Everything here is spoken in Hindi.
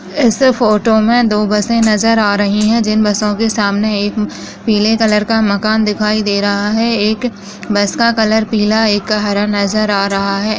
ऐसे फोटो में दो बसे नज़र आ रही है जिन बसों के सामने एक पीले कलर का मकान दिखाई दे रहा है एक बस का कलर पीला एक का हरा नज़र आ रहा है।